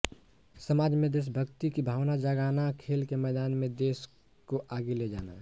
समाज में देशभक्ति की भावना जगाना खेल के मैदान में देश को आगे ले जाना